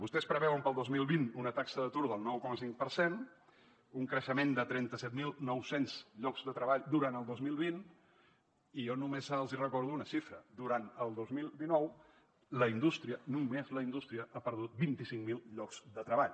vostès preveuen per al dos mil vint una taxa d’atur del nou coma cinc per cent un creixement de trenta set mil nou cents llocs de treball durant el dos mil vint i jo només els recordo una xifra durant el dos mil dinou la indústria només la indústria ha perdut vint cinc mil llocs de treball